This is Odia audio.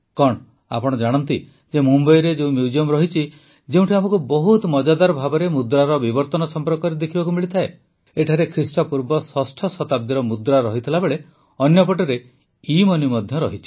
କଣ ଆପଣ ଜାଣନ୍ତି ଯେ ମୁମ୍ବାଇରେ କେଉଁ ମ୍ୟୁଜିୟମ୍ ରହିଛି ଯେଉଁଠି ଆମକୁ ବହୁତ ମଜାଦାର ଭାବେ ମୁଦ୍ରାର ବିବର୍ତ୍ତନ ସମ୍ପର୍କରେ ଦେଖିବାକୁ ମିଳିଥାଏ ଏଠାରେ ଖ୍ରୀଷ୍ଟପୂର୍ବ ଷଷ୍ଠ ଶତାବ୍ଦୀର ମୁଦ୍ରା ରହିଥିବାବେଳେ ଅନ୍ୟପଟେ ଇମନି ମଧ୍ୟ ରହିଛି